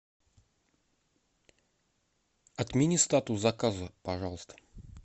отмени статус заказа пожалуйста